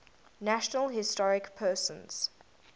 national historic persons